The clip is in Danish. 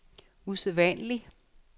usædvanlig